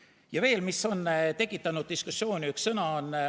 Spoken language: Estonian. Ja veel, mis on tekitanud diskussiooni, on üks sõna.